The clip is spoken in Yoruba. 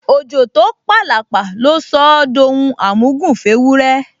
Òjò tó p’àlàpà ló sọ ọ́ d’ohun àmúgùn f’éwúrẹ́